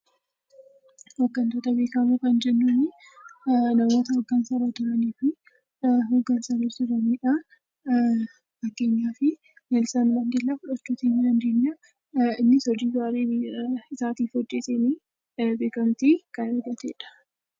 Hoggantoota beekamoo kan jennuun, namoota hoggansa irra jiraniidha. Akka fakkeenyaatti Neelsan Maandellaa fudhachuu ni dandeenya. Innis hojii gaarii biyya isaaf hojjeteen beekamtii kan argatedha.